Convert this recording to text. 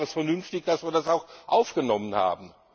Deswegen war es vernünftig, dass wir das auch aufgenommen haben.